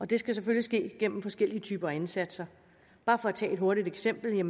det skal selvfølgelig ske gennem forskellige typer af indsatser bare for at tage et hurtigt eksempel